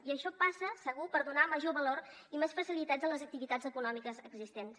i això passa segur per donar major valor i més facilitats a les activitats econòmiques existents